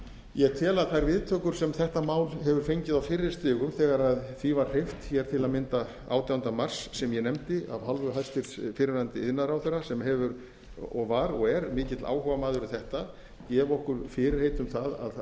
ég tel að þær viðtökur sem þetta mál hefur fengið á fyrri stigum þegar því var hreyft hér til að mynda átjánda mars sem ég nefndi af hálfu hæstvirts fyrrverandi iðnaðarráðherra sem hefur og var og er mikill áhugamaður um þetta gefa okkur fyrirheit um það að